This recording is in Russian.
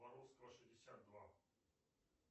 боровского шестьдесят два